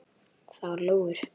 Það voru lóur.